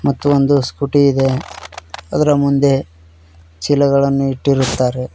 ಮತ್ತು ಒಂದು ಸ್ಕೂಟಿ ಇದೆ ಅದರ ಮುಂದೆ ಚೀಲಗಳನ್ನು ಇಟ್ಟಿರುತ್ತಾರೆ.